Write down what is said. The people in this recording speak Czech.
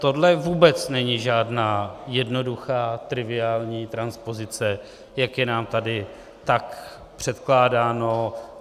Tohle vůbec není žádná jednoduchá, triviální transpozice, jak je nám tady tak předkládáno.